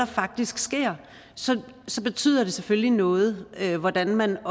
faktisk sker så så betyder det selvfølgelig noget hvordan man